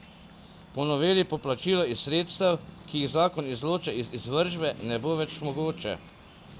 Po noveli poplačilo iz sredstev, ki jih zakon izloča iz izvršbe, ne bo več mogoče.